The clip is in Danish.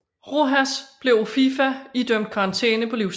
Rojas blev af FIFA idømt karantæne på livstid